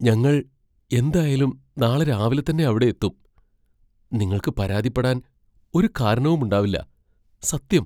ഞങ്ങൾ എന്തായാലൂം നാളെ രാവിലെത്തന്നെ അവിടെ എത്തും, നിങ്ങൾക്ക് പരാതിപ്പെടാൻ ഒരു കാരണവുമുണ്ടാവില്ല, സത്യം.